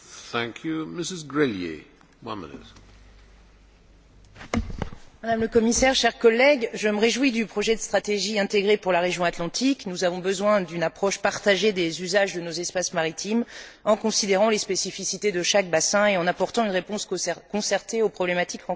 Monsieur le Président, Madame la Commissaire, chers collègues, je me réjouis du projet de stratégie intégrée pour la région atlantique. Nous avons besoin d'une approche partagée des usages de nos espaces maritimes en considérant les spécificités de chaque bassin et en apportant une réponse concertée aux problématiques rencontrées.